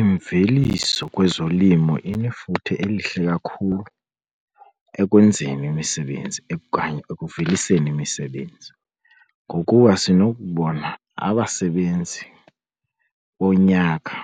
Imveliso kwezolimo inefuthe elihle kakhulu ekwenzeni imisebenzi okanye ekuveliseni imisebenzi ngokuba sinokubona abasebenzi bonyaka